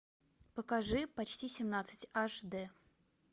покажи почти семнадцать аш дэ